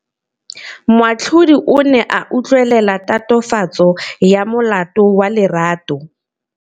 Moatlhodi o ne a utlwelela tatofatsô ya molato wa Lerato.